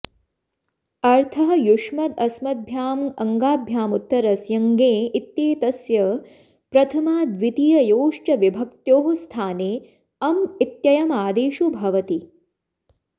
अर्थः युष्मदस्मद्भ्यामङ्गाभ्यामुत्तरस्य ङे इत्येतस्य प्रथमाद्वितीययोश्च विभक्त्योः स्थाने अम् इत्ययमादेशो भवति